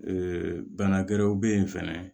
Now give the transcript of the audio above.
bana wɛrɛw bɛ ye fɛnɛ